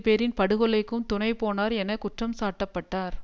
பேரின் படுகொலைக்கும் துணைபோனார்என குற்றம் சாட்டப்பட்டார்